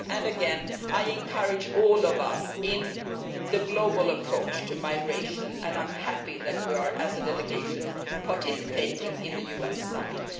Again I encourage all of us in the global approach to migration and I am happy that we are, as a delegation, participating in the UN summit.